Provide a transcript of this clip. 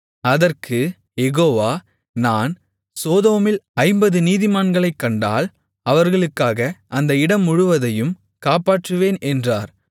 அதற்குக் யெகோவா நான் சோதோமில் ஐம்பது நீதிமான்களைக் கண்டால் அவர்களுக்காக அந்த இடம் முழுவதையும் காப்பாற்றுவேன் என்றார்